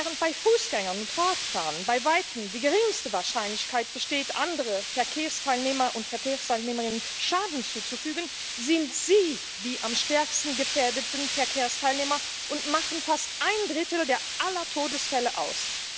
Während bei Fußgängern und Radfahrern bei weitem die geringste Wahrscheinlichkeit besteht, anderen Verkehrsteilnehmern und Verkehrsteilnehmerinnen Schaden zuzufügen, sind sie die am stärksten gefährdeten Verkehrsteilnehmer und machen fast ein Drittel aller Todesfälle aus.